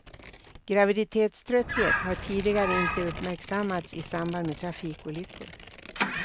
Graviditetströtthet har tidigare inte uppmärksammats i samband med trafikolyckor.